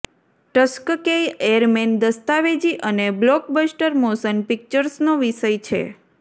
Tuskegee airmen દસ્તાવેજી અને blockbuster motion પિક્ચર્સનો વિષય છે